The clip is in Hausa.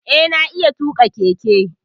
Eh, na iya tuƙa keke.